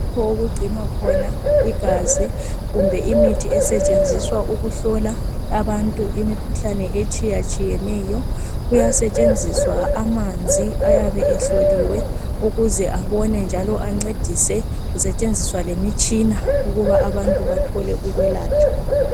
Lapho okugcinwa khona igazi kumbe imithi esetshenziswa ukuhlola abantu imikhuhlane etshiyatshiyeneyo kuyasetshenziswa amanzi ayabe ehloliwe ukuze abone njalo ancedise kusetshenziswa lemitshina ukuba abantu bethole ukwelatshwa.